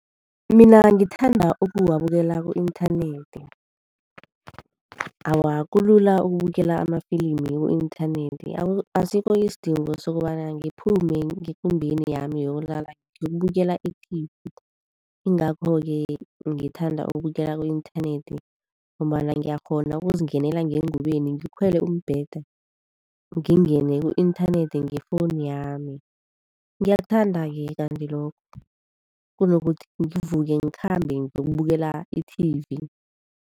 Mina ngithanda ukuwabukela ku-inthanethi. Awa, kulula ukubukela amafilimu ku-inthanethi, asikho isidingo sokobana ngiphume ngekumbeni yami yokulala ngiyokubukela e-T_V_. Ingakho-ke ngithanda ukubukela ku-inthanethi ngombana ngiyakghona ukuzingenela ngeengubeni, ngikhwela umbethe, ngingene ku-inthanethi nge-phone yami. Ngiyakuthanda-ke kanti lokho, kunokuthi ngivuke ngikhambe ngiyokukubukela i-T_V_.